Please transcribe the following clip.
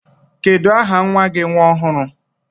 Kedu aha nwa gi nwa ọhụrụ?